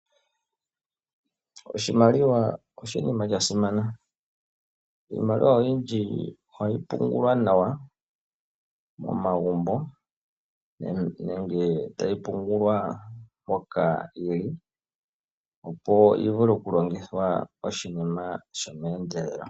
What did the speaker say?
Oshimaliwa oshinima sha simana, iimaliwa oyindji ohayi pungulwa nawa momagumbo, nenge tayi pungulwa mpoka yili, opo yi vule oku longithwa oshinima sho meendelelo.